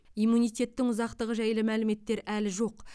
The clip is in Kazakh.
иммунитеттің ұзақтығы жайлы мәліметтер әлі жоқ